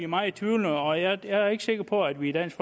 meget tvivlende og jeg er ikke sikker på at vi i dansk